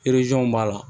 b'a la